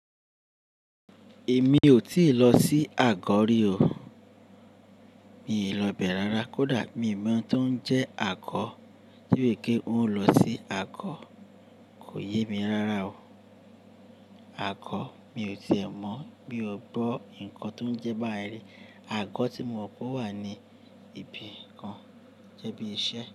Èmi ò tíì lọ sí Àgọ́ rí o. Mi ò lọ bẹ̀ rara. Kódà mi mọ̀ tó ń jẹ́ Àgọ́, tí wèrè pé ó ń lọ sí Àgọ́ kò yé mi rara o. Àgọ́ mi ò tíì ẹ mọ̀ bí ó bọ́ nǹkan tó ń jẹ́ bái rí. Àgọ́ tí mo mọ̀ pé ó wà ní ibi kan jẹ́ bí i iṣẹ́